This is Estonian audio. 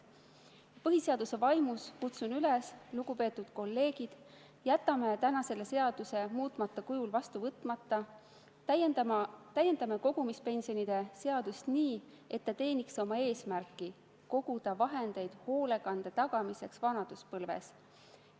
" Põhiseaduse vaimus kutsun üles: lugupeetud kolleegid, jätame täna selle seaduse muutmata kujul vastu võtmata, täiendame kogumispensionide seadust nii, et see teeniks oma eesmärki koguda vahendeid hoolekande tagamiseks vanaduspõlves.